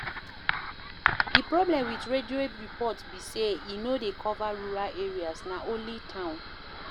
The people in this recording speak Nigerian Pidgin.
Di problem with radio report be sey e no dey cover rural areas, na only town